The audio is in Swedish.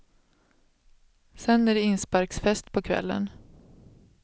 Sedan är det insparksfest på kvällen.